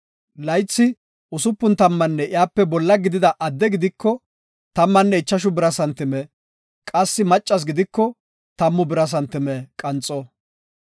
Laythi usupun tammanne iyape bolla gidida adde gidiko, tammanne ichashu bira santime; qassi maccas gidiko tammu bira santime qanxo.